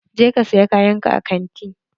Je ka saya kayan ka a kanti!